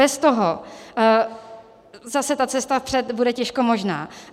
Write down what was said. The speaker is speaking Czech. Bez toho zase ta cesta vpřed bude těžko možná.